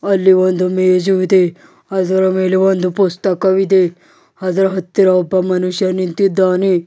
ಅಲ್ಲಿ ಒಂದು ಮೇಜು ಇದೆ ಅದರ ಮೇಲೆ ಒಂದು ಪುಸ್ತಕವಿದೆ ಅದರ ಹತ್ತಿರ ಒಬ್ಬ ಮನುಷ್ಯ ನಿಂತಿದ್ದಾನೆ.